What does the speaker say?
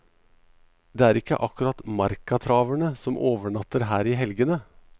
Det er ikke akkurat markatraverne som overnatter her i helgene.